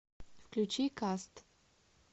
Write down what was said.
включи каст